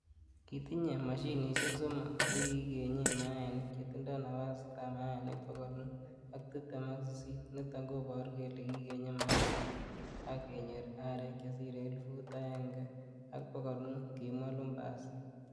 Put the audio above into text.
Kitinye mashinishek somok che "kigenyen mayai, chetindo napasitab mayainik bogol mut ak tibtem ak sisit, niton koboru kele kigenye mayainik ak kenyor arek chesire elfut aenge ak bogol mut,''kimwa Lumbasi.